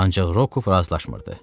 Ancaq Rokov razılaşmırdı.